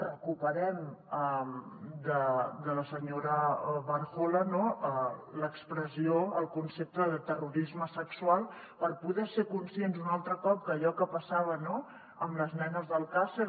recuperem de la senyora barjola l’expressió el concepte de terrorisme sexual per poder ser conscients un altre cop que allò que passava amb les nenes d’alcàsser